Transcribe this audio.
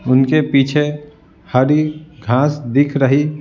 उनके पीछे हरी घास दिख रही --